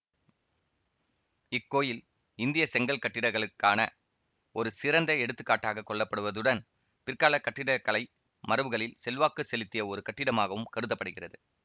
இக்கோயில் இந்திய செங்கல் கட்டிடங்களுக்கான ஒரு சிறந்த எடுத்துக்காட்டாகக் கொள்ளப்படுவதுடன் பிற்காலக் கட்டிடக்கலை மரபுகளில் செல்வாக்கு செலுத்திய ஒரு கட்டிடமாகவும் கருத படுகிறது